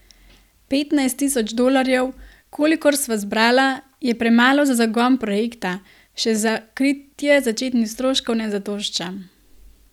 Petnajst tisoč dolarjev, kolikor sva zbrala, je premalo za zagon projekta, še za kritje začetnih stroškov ne zadošča.